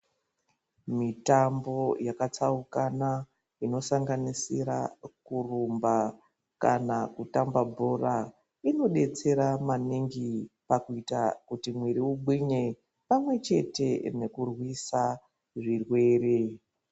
Mitambo yakatsaukana inosanganisira kurumba kana kutamba bhora inodetsera maningi pakuita kuti mwiri ugwinye pamwechete nekurwisa zvirwere.